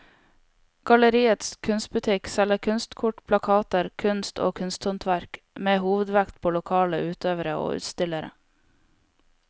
Galleriets kunstbutikk selger kunstkort, plakater, kunst og kunsthåndverk med hovedvekt på lokale utøvere og utstillere.